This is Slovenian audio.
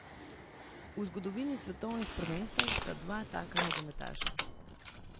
V zgodovini svetovnih prvenstev sta dva taka nogometaša.